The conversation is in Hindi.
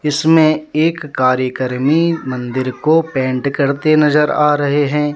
इसमें एक कार्यक्रमी मंदिर को पेंट करते नजर आ रहे हैं।